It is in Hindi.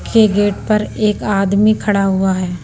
के गेट पर एक आदमी खड़ा हुआ है।